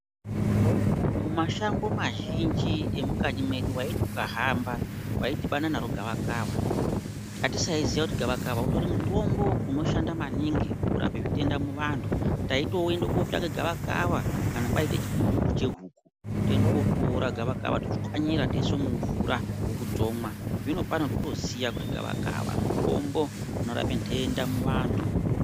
Mashango mazhinji emukanyi mwedu waiti ukahamba waidhibana naro gavakava. Atisaiziya kuti gavakava utori mutombo unoshanda maningi kurapa zvitenda muvantu. Taitoende kootsvake gavakava kana kwaita chibhubhubhu chehuku toende kootora gavakava totswanyira toise mumvura huku dzomwa. Zvinopano totoziya kuti gavakava mutombo unorape nhenda muvantu.